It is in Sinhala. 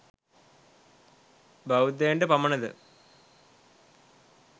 බෞද්ධයන්ට පමණද?